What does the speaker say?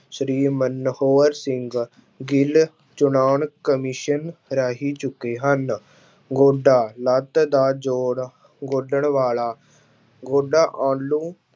ਸ਼੍ਰੀ ਮਨੋਹਰ ਸਿੰਘ ਗਿੱਲ ਚੌਣ commission ਰਾਹੀਂ ਚੁੱਕੇ ਹਨ, ਗੋਡਾ ਲੱਤ ਦਾ ਜੋੜ ਗੋਡਣ ਵਾਲਾ ਗੋਡਾ ਉਹਨੂੰ